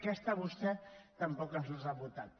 aquesta vostè tampoc ens l’ha votat